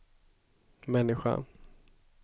människan